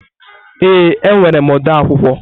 Ee, enwere m ode akwụkwọ.